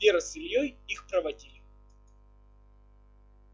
вера с ильёй их проводили